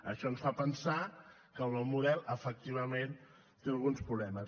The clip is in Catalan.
això ens fa pensar que el nou model efectivament té alguns problemes